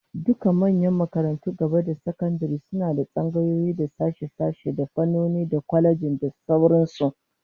Dukkan manyan makarantun gaba da sakandare suna da tsangayoyi, da sashe-sashe, da fannoni, da kwalejoji da sauran su